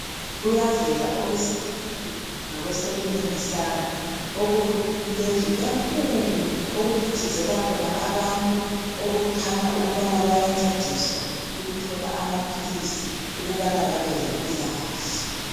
Kuyavela owesithuthuthu ngakwesokunene sami. Okulendlu enkulu! Okuphithizela khona abantu. Okukhanya ukubana bayancediswa ukuthola amaphilisi, ukubana, babe lempilakahle.